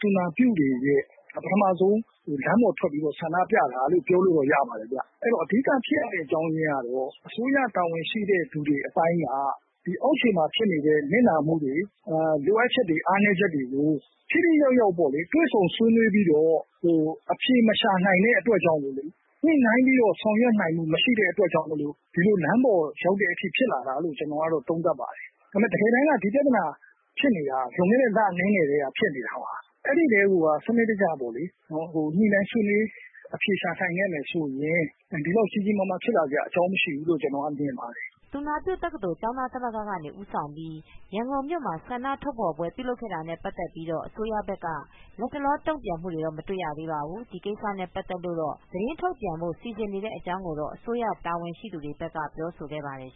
သူနာပြုတွေရဲ့ ပထမဦးဆုံး လမ်းပေါ်ထွက်ပြီးတော့ ဆန္ဒပြတာလို့ ပြောလို့တော့ ရပါတယ်ခင်ဗျ။ အဲဒီတော့ အဓိကဖြစ်ရတဲ့ အကြောင်းအရင်းကတော့ အစိုးရတာဝန်ရှိတဲ့သူအပိုင်းက ဒီအောက်ခြေ မှာ ဖြစ်တဲ့ နစ်နာမှုတွေ ၊လိုအပ်ချက်တွေ၊ အားနည်းချက်တွေကို ထိထိရောက်ရောက်ပေါ့လေ တွေ့ဆုံဆွေးနွေး အဖြေမရှာနိုင်တဲ့အတွက်ကြောင့် ၊ ညှိနှိုင်းပြီးတော့ ဆောင်ရွက်နိုင်မှုမရှိတဲ့အတွက်ကြောင့် ဒီလမ်းပေါ်ရောက်တဲ့ အထိ ဖြစ်လာတာလို့ သုံးသပ် ပါတယ်။ ဒါက တကယ်တမ်းပြဿနာဖြစ်နေတာက လွန်ခဲ့တဲ့လအနည်းငယ်ကတည်းက ဖြစ်နေတာပါ။ အဲဒီကတည်းက ညှိနှိုင်းဆွေးနွေး အဖြေရှာနိုင်ခဲ့မယ်ဆိုရင် ဒီလောက် ကြီးကြီးမားမား ဖြစ်လာစရာ အကြောင်းမရှိဘူး လို့ မြင်ပါတယ်။” သူနာပြုတက္ကသိုလ်ကျောင်းသားသမဂ္ဂကနေ ဦးဆောင်ပြီး ရန်ကုန်မြို့မှာ ဆန္ဒ ထုတ်ဖော်ပွဲလုပ်ခဲ့ အပြီးမှာတော့ အစိုးရဘက်က လက်တလော တုံ့ပြန်မူတွေတော့ မတွေ့ရသေးပါဘူး။ ဒီကိစ္စနဲ့ ပတ်သက်လိုတော့ သတင်းထုတ်ပြန်ဖို့စီစဉ်နေ တဲ့အကြောင်းကိုတော့ အစိုးရ တာဝန်ရှိသူတွေ ဘက်ကတော့ပြောဆိုခဲ့ပါတယ်